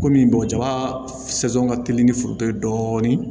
Komi bɔgɔ jaba ka teli ni foronto ye dɔɔnin